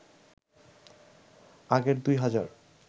আগের ২ হাজার